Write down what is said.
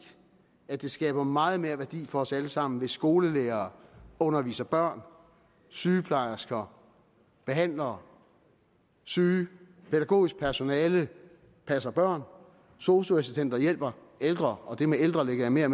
at det skaber meget mere værdi for os alle sammen hvis skolelærere underviser børn sygeplejersker behandler syge pædagogisk personale passer børn sosu assistenter hjælper ældre og det med ældre lægger jeg mere